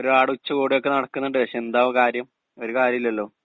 speaker 2 ഒരു പാട് ഉച്ചകോടിയൊക്കെ നടക്കുന്നുണ്ട് പക്ഷേ എന്താ കാര്യം ഒരു കാര്യൂലല്ലോ